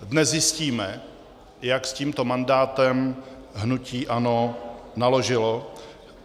Dnes zjistíme, jak s tímto mandátem hnutí ANO naložilo.